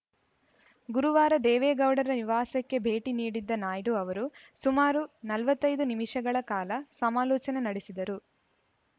ಗುರುವಾರ ದೇವೇಗೌಡರ ನಿವಾಸಕ್ಕೆ ಭೇಟಿ ನೀಡಿದ್ದ ನಾಯ್ಡು ಅವರು ಸುಮಾರು ನಲವತ್ತ್ ಐದು ನಿಮಿಷಗಳ ಕಾಲ ಸಮಾಲೋಚನೆ ನಡೆಸಿದರು